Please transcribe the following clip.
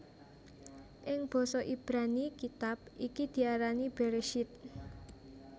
Ing basa Ibrani kitab iki diarani Bereshit